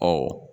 Ɔ